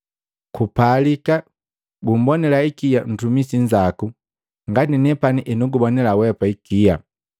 Kupalika gumbonila ikia ntumisi nzaku ngati nepani henugubonila weapa ikia.’